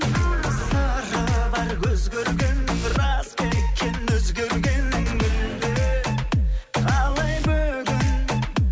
сыры бар көз көргеннің рас па екен өзгергенің мүлде қалай бүгін